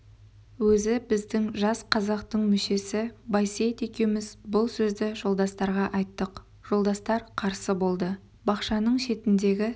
өзі біздің жас қазақтың мүшесі байсейіт екеуміз бұл сөзді жолдастарға айттық жолдастар қарсы болды бақшаның шетіндегі